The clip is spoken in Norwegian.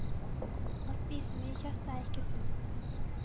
Å spise mye kjøtt er ikke sunt.